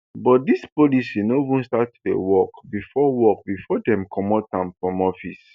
but dis policy no even start to work before work before dem comot am from office